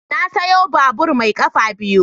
Na sayo babur mai kafa biyu.